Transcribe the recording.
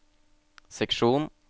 seksjon